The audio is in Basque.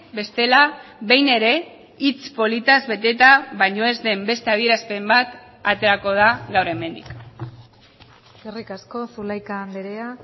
bestela behin ere hitz politaz beteta baino ez den beste adierazpen bat aterako da gaur hemendik eskerrik asko zulaika andrea